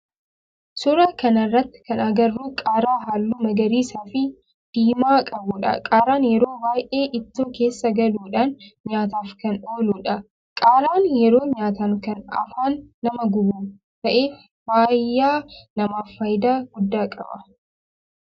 Suuraa kana irratti kan agarru qaaraa halluu magariisaa fi diimaa qabudha. Qaaraan yeroo baayyee ittoo keessa galuudhan nyaataf kan ooludha. Qaaraan yeroo nyaatan kan afaan nama gubu ta'ee fayyaa namaaf faayidaa guddaa qaba.